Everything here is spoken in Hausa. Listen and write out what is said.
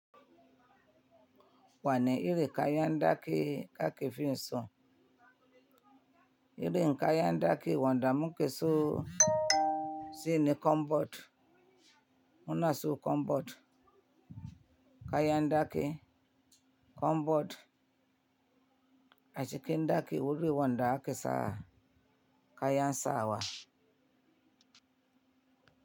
Wani iri kayan daki kake fi so? Iri kayan daki wanda muke so shine kombot. Muna so kombot, kayan daki, kombot. A cikin daki wuri wanda ake sawa kayan sawa.